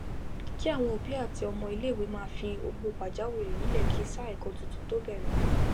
kí àwọn òbí àti ọmọ ilé ìwé máa fi owó pàjá wìrì nílè kí sáà èkó titun tó bérè